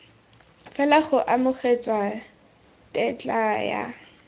fela go amogetswe tetla ya